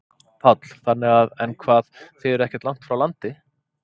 Páll: Þannig að, en hvað, þið eruð ekkert langt frá landi?